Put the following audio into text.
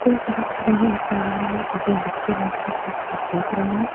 Coach भी खड़े हैं इस मैदान में दो बच्चे बैठकर क्रिकेट देख रहे हैं।